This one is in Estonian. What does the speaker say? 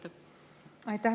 Aitäh!